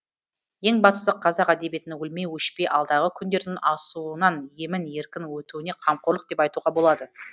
ең бастысы қазақ әдебиетінің өлмей өшпей алдағы күндердің асуынан емін еркін өтуіне қамқорлық деп айтуға болады